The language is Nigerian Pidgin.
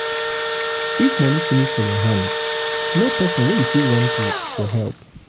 if money finish for your hand know person wey you fit run to for help